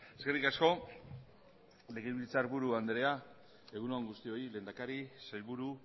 eskerrik asko legebiltzarburu andrea egun on guztioi lehendakari sailburu